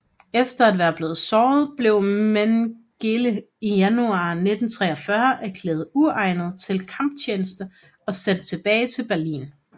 Efter at være blevet såret blev Mengele i januar 1943 erklæret uegnet til kamptjeneste og sendt tilbage til Berlin